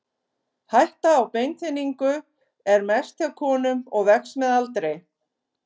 Hætta á beinþynningu er mest hjá konum og vex með aldri.